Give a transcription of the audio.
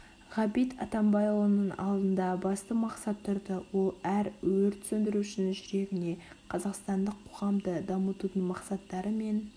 ғабит атанбайұлының алдында басты мақсат тұрды ол әр өрт сөндірушінің жүрегіне қазақстандық қоғамды дамытудың мақсаттары мен